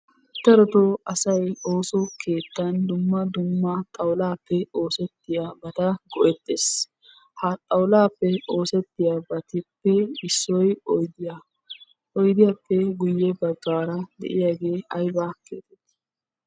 Darotoo asay ooso keettan dumma dumma xawulaappe oosettiyabata go'ettes. Ha xawulaappe oosettiyabatuppe issoy oyidiya. Oyidiyappe guyyebaggaara de'iyagee ayibaa geetetti?